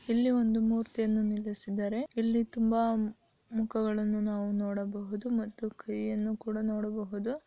ಇಲ್ಲಿ ಒಂದು ಮೂರ್ತಿಯನ್ನು ನಿಲ್ಲಿಸಿದ್ದಾರೆ ಇಲ್ಲಿ ತುಂಬಾ ಮುಖಗಳನ್ನು ನಾವು ನೋಡಬಹುದು ಮತ್ತು ಕೈಯನ್ನು ಕೂಡ ನೋಡಬಹುದು.